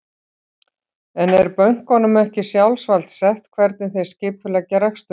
En er bönkunum ekki sjálfsvald sett hvernig þeir skipuleggja rekstur sinn?